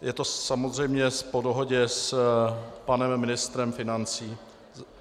Je to samozřejmě po dohodě s panem ministrem financí.